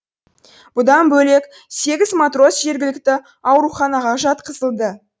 бұдан бөлек сегіз матрос жергілікті ауруханаға жатқызылды